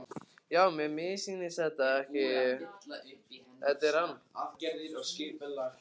Já, mér missýnist ekki, þetta er hann.